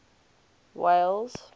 walles